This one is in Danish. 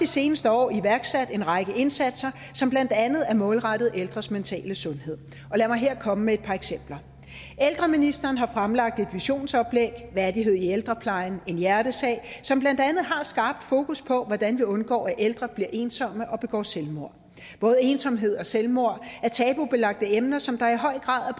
seneste år iværksat en række indsatser som blandt andet er målrettet ældres mentale sundhed og lad mig her komme med et par eksempler ældreministeren har fremlagt et visionsoplæg værdighed i ældreplejen en hjertesag som blandt andet har skabt fokus på hvordan vi undgår at ældre bliver ensomme og begår selvmord både ensomhed og selvmord er tabubelagte emner som der i høj grad